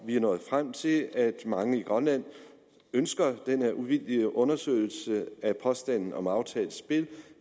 vi er nået frem til at mange i grønland ønsker den her uvildige undersøgelse af påstanden om aftalt spil